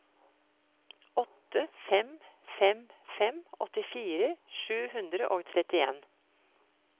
åtte fem fem fem åttifire sju hundre og trettien